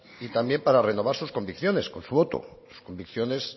y también para renovar sus convicciones con su voto convicciones